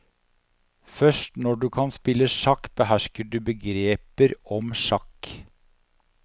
Først når du kan spille sjakk, behersker du begreper om sjakk.